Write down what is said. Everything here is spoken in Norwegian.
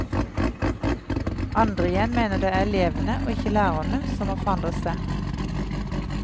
Andre igjen mener det er elevene, og ikke lærerne som må forandre seg.